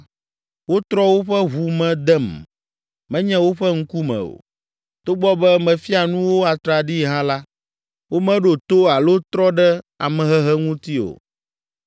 Wotrɔ woƒe ʋu me dem, menye woƒe ŋkume o. Togbɔ be mefia nu wo atraɖii hã la, womeɖo to alo trɔ ɖe amehehe ŋuti o.